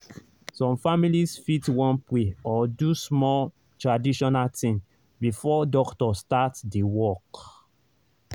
some families fit wan pray or do small traditional thing before doctor start the work.